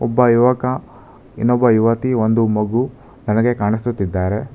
ಒಬ್ಬ ಯುವಕ ಇನ್ನೊಬ್ಬ ಯುವತಿ ಒಂದು ಮಗು ನನಗೆ ಕಾಣಿಸುತ್ತಿದ್ದಾರೆ.